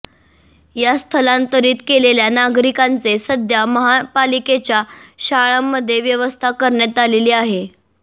या स्थंलातरीत केलेल्या नागरिकांचे सध्या महापालिकेच्या शाळांमध्ये व्यवस्था करण्यात आली आहे